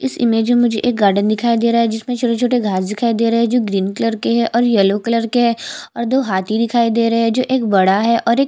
इस इमेज में मुझे एक गार्डन दिखाई दे रहा है जिसमे छोटे-छोटे घांस दिखाई दे रहे है जो ग्रीन कलर है।